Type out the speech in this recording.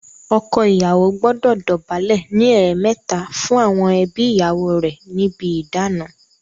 Ọkọ ìyàwó gbọdọ dọ̀bálẹ̀ ní ẹ̀ẹ̀mẹta fún àwọn ẹbí ìyàwó rè níbi ìdána.